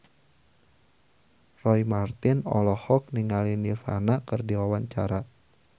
Roy Marten olohok ningali Nirvana keur diwawancara